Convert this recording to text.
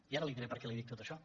i ara li diré perquè li dic tot això